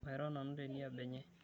Mairo nanu teniaba enye.